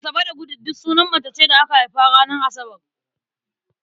Asabe da Gude duk sunan mace ce da aka haifa ranar Asabar.